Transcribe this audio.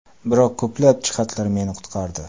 Biroq ko‘plab jihatlar meni qutqardi.